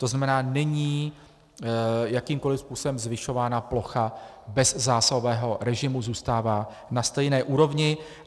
To znamená, není jakýmkoli způsobem zvyšována plocha bezzásahového režimu, zůstává na stejné úrovni.